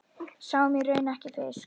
Sáum í raun ekki fisk.